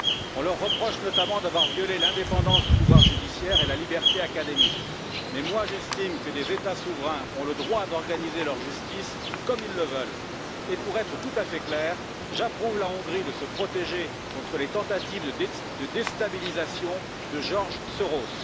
On leur reproche notamment d'avoir violé l'indépendance du pouvoir judiciaire et la liberté académique, mais moi j'estime que des États souverains ont le droit d'organiser leur justice comme ils le veulent. Et pour être tout à fait clair, j'approuve la Hongrie de se protéger contre les tentatives de déstabilisation de George Soros.